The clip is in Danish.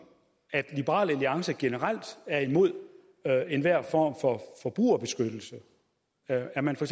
at liberal alliance generelt er imod enhver form for forbrugerbeskyttelse er er man for